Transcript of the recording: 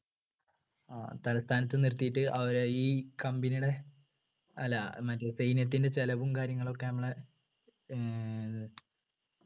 ഏർ തലസ്ഥാനത്ത് നിർത്തിയിട്ട് അവരെ ഈ company ടെ അല്ല മറ്റേ സൈന്യത്തിൻ്റെ ചിലവും കാര്യങ്ങളൊക്കെ നമ്മളെ ഏർ